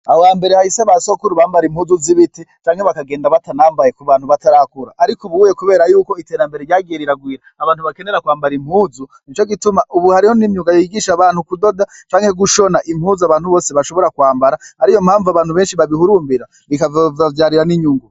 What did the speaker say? Ahohambere hahise basokuru bambara impuzu z'ibiti canke bakagenda batanambaye kubantu batarakura. Arik'ubuye kubera yuko iterambere ryagiye riragwira abantu bakenera kwambara impuzu nico gituma ubu hariho n'imyuga yigisha abantu kudoda canke gushoba impuzu abantu bose bashobora kwambara ariyompamvu abantu beshi babihurumbira bikazobavyarira n'inyungu.